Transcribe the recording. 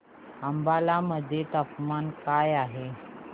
अंबाला मध्ये तापमान काय आहे